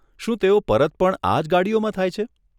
શું તેઓ પરત પણ આજ ગાડીઓમાં થાય છે?